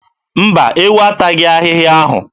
Mba, ewu ataghị ahịhịa ahụ.